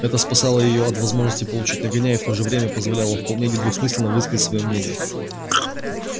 это спасало её от возможности получить нагоняй и в то же время позволяло вполне недвусмысленно высказывать своё мнение